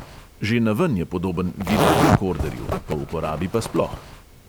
Že naven je podoben videorekorderju, po uporabi pa sploh.